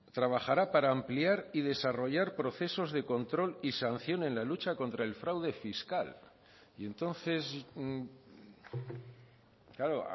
trabajará para ampliar y desarrollar procesos de control y sanción en la lucha contra el fraude fiscal y entonces claro